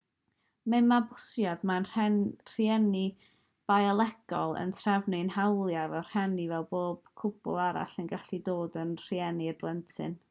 mewn mabwysiad mae'r rhieni biolegol yn terfynu'u hawliau fel rhieni fel bod cwpl arall yn gallu dod yn rhieni i'r plentyn